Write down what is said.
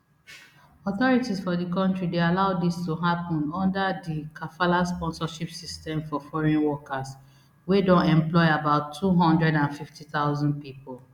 authorities for di kontri dey allow dis to happun under di kafala sponsorship system for foreign workers wey don employ about two hundred and fifty thousand pipo